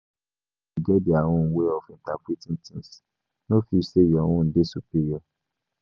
Everybody get their own way of interpreting things, no feel sey your own dey superior.